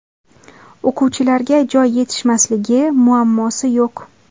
O‘quvchilarga joy yetishmasligi muammosi yo‘q.